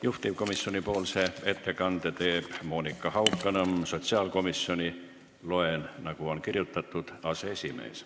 Juhtivkomisjoni nimel teeb ettekande Monika Haukanõmm, sotsiaalkomisjoni – loen, nagu on kirjutatud – aseesimees.